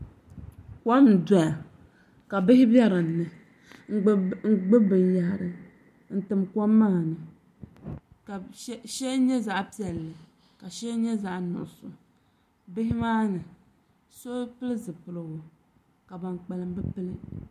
Kom n doya ka bihi bɛ dinni n gbubi binyahari n tim kom maa ni ka shɛli nyɛ zaɣ piɛlli ka shɛli nyɛ zaɣ nuɣso bihi maa ni so pili zipiligu ka ban kpalim bi pili